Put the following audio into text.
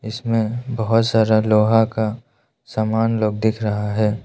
इसमें बहोत सारा लोहा का सामान लोग दिख रहा है।